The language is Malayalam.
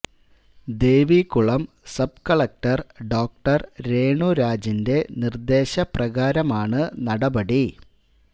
Devikulam sub collector doctor Renu രാജിന്റെ നിർദ്ദേശ പ്രകാരമാണ് നടപടി